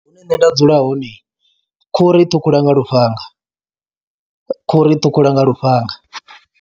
Hune nṋe nda dzula hone khuhu ri i ṱhukhula nga lufhanga, khuhu ri i ṱhukhula nga lufhanga.